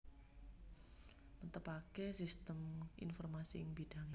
Netepaké sistem informasi ing bidhangé